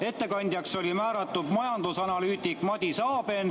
Ettekandjaks oli määratud majandusanalüütik Madis Aben.